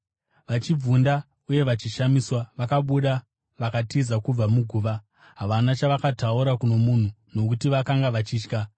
Vachibvunda uye vachishamiswa, vakabuda vakatiza kubva muguva. Havana chavakataura kuno munhu, nokuti vakanga vachitya.